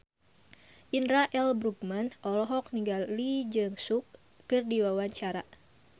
Indra L. Bruggman olohok ningali Lee Jeong Suk keur diwawancara